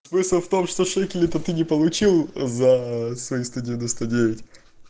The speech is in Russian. смысл в том что шекели то ты не получил за свои сто девяносто девять